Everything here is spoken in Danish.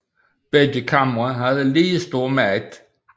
Begge kamre havde lige stor magt